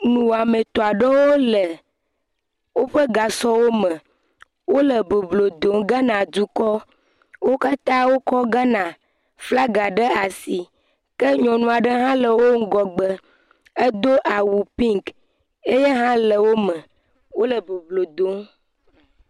Nuwɔame tɔ aɖewo le woƒe gasɔwo me, wole boblo dom Ghana dukɔ, wo katãa wokɔ Ghana flaga ɖe asi, ke nyɔnu aɖe hã le wo ŋgɔgbe, edo awu pink eya hã le wo me, wole boblo dom.